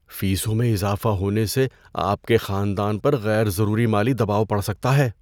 فیسوں میں اضافہ ہونے سے آپ کے خاندان پر غیر ضروری مالی دباؤ پڑ سکتا ہے۔